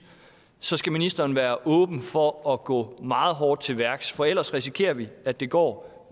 så skal ministeren være åben over for at gå meget hårdt til værks for ellers risikerer vi at det går